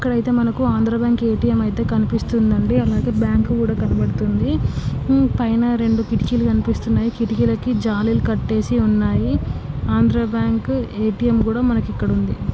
ఇక్కడ ఐతే మనకు ఆంధ్ర బ్యాంకు ఎటిఎం ఐతే కనిపిస్తుంది అండి అలాగే బ్యాంకు కూడా కనడపడుతుంది పైన రెండు కిటికీలు కనిపిస్తునాయి. కిటికలకి జలాలు కట్టేసి ఉన్నాయీ .ఆంధ్ర బ్యాంకు ఎటిఎం మనకు ఇక్కడ ఉంది.